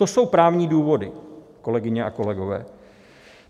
To jsou právní důvody, kolegyně a kolegové.